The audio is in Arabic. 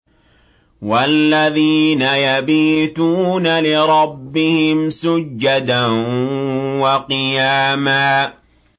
وَالَّذِينَ يَبِيتُونَ لِرَبِّهِمْ سُجَّدًا وَقِيَامًا